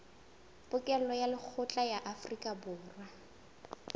pokello ya lekgetho ya aforikaborwa